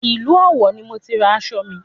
Ìlú Ọ̀wọ̀ ni mo ti ra aṣọ mi